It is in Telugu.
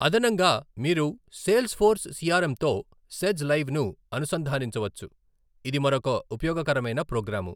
అదనంగా, మీరు సేల్ ఫోర్స్ సిఆర్ఎమ్ తో సేజ్ లైవ్ ను అనుసంధానించవచ్చు, ఇది మరొక ఉపయోగకరమైన ప్రోగ్రాము.